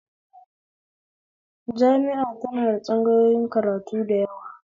Jami'a tana da tsangayoyin karatu da yawa